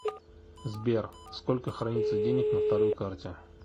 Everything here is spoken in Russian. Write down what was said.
сбер сколько хранится денег на второй карте